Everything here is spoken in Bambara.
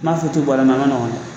N'a fɔ tɛ bɔra a man nɔgɔn dɛ